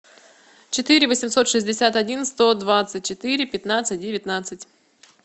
четыре восемьсот шестьдесят один сто двадцать четыре пятнадцать девятнадцать